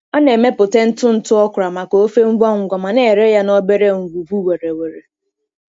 Ọ na-emepụta ntụ ntụ okra maka ofe ngwa ngwa ma na-ere ya n’obere ngwugwu were were.